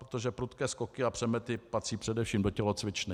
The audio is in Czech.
Protože prudké skoky a přemety patří především do tělocvičny.